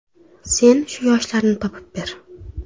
Sen shu yoshlarni topib ber.